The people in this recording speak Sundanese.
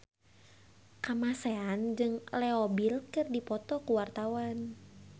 Kamasean jeung Leo Bill keur dipoto ku wartawan